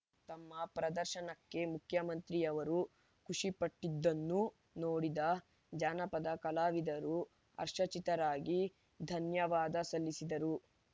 ತಮ್ಮ ಪ್ರದರ್ಶನಕ್ಕೆ ಮುಖ್ಯಮಂತ್ರಿಯವರು ಖುಷಿಪಟ್ಟಿದ್ದನ್ನು ನೋಡಿದ ಜಾನಪದ ಕಲಾವಿದರು ಹರ್ಷಚಿತ್ತರಾಗಿ ಧನ್ಯವಾದ ಸಲ್ಲಿಸಿದರು